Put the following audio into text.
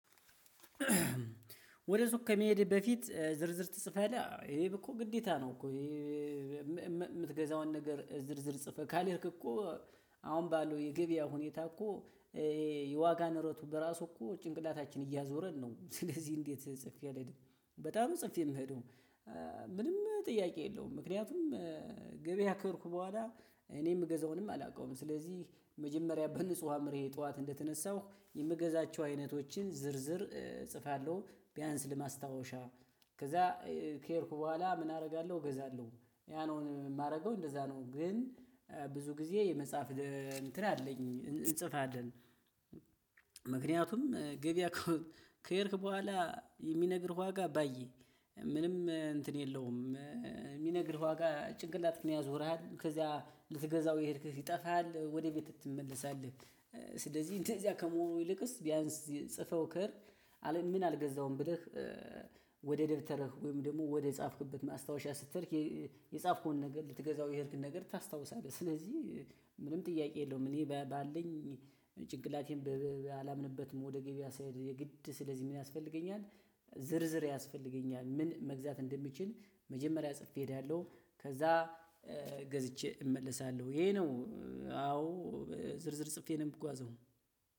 ወደ ሱቅ ከመሄድ በፊት ዝርዝር ትጽፋለህ ይህ ግደታ ነው እኮ ነገር ዝርዝር ጽፈህ ካልሄድክ እኮ አሁን ባለው የገበያ ሁኔታ እኮ የዋጋ ንረቱ በራሱ እኮ ጭንቅላታችን እያዞረን ነው። ስለዚህ እንዴት ጽፌ አልሄድም በጣም ጽፌ የምሄደው ምንም ጥያቄ የለውም ምክንያቱም ገበያከሄድኩ በኋላ እኔ የምገዛውንም አላውቀውም ስለዚህ መጀመሪያ በንጹህ አዕምሮየ ጠዋት እንደተነሳሁ የምገዛቸው አይነቶችን ዝርዝር እጽፋለሁ ቢያንስ ለማስታወሻ ከዛ ከሄድኩ በኋላ ምን አደርጋለሁ እገዛለሁ ያ ነው የማደርገው እንደዛ ነው ግን ብዙ ጊዜ የመጽሐፍ እንትን አለኝ እንጽፋለን። ምክንያቱም ገበያ ከሄድክ በኋላ የሚነግርህ ዋጋ ባየ ምንም እንትን የለውም የሚነግርህ ዋጋ ጭንቅላትክን ያዞርሃል ከዚያ ልትገዛው የሄድክ ይጠፋል ወደ ቤት ትመለሳለህ ስለዚህ እንደዚያ ከመሆኑ ይልቅስ ቢያንስ ጽፈኸው ከሄድክ ምን አልገዛውም ብለህ ወደ ደብተርህ ወይም ደግሞ ወደ ጻፍክበት ማስታወሻ ስትሄድ የጻፍከውን ነገር ልትገዛው የሄድክን ነገር ታስታውሳለህ ስለዚህ ምንም ጥያቄ የለውም እኔ ባለኝ ጭንቅላቴንበብዛት አላምንበት ወደ ገበያ ሲሄድ የግድ ስለዚህ ምን ያስፈልገኛል? ዝርዝር ያስፈልገኛል ምን መግዛት እንደምችል መጀመሪያ ጽፌ እሄዳለሁ ከዛ ገዝቼ እመለሳለሁ ይሄ ነው አዎ ዝርዝር ጽፌ ነው የምጓዘው።